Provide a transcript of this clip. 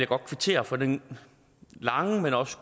godt kvittere for den lange men også